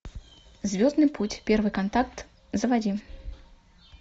звездный путь первый контакт заводи